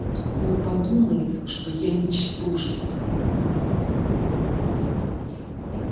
он подумает что я ничтожество